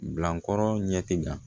Bilankɔrɔ ɲɛ ti da